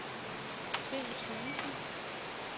Finn Thuesen